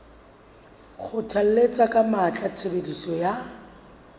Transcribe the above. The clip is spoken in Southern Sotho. kgothalletsa ka matla tshebediso ya